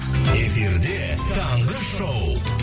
эфирде таңғы шоу